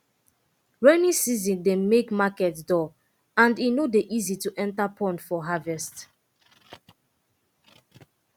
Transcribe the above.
rainy season dey make market dull and e no dey easy to enta pond for harvest